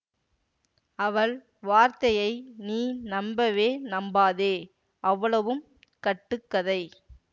அவள் வார்த்தையை நீ நம்பவே நம்பாதே அவ்வளவும் கட்டு கதை